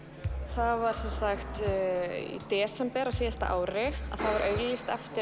það var sem sagt í desember á síðasta ári þá var auglýst eftir